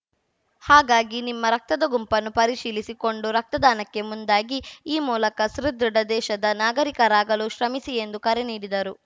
ಹಾಗಾಗಿ ನಿಮ್ಮ ರಕ್ತದ ಗುಂಪನ್ನು ಪರಿಶೀಲಿಸಿ ಕೊಂಡು ರಕ್ತದಾನಕ್ಕೆ ಮುಂದಾಗಿ ಈ ಮೂಲಕ ಸುದೃಢ ದೇಶದ ನಾಗರಿಕರಾಗಲು ಶ್ರಮಿಸಿ ಎಂದು ಕರೆ ನೀಡಿದರು